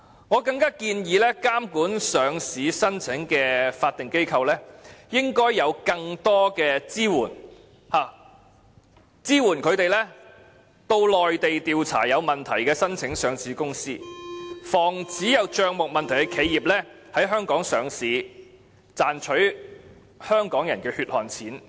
我更加建議監管上市申請的法定機構應有更多支援，以便他們可到內地調查有問題的申請上市公司，防止帳目有問題的企業在香港上市，賺取香港人的血汗錢。